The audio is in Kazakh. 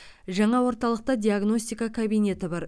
жаңа орталықта диагностика кабинеті бар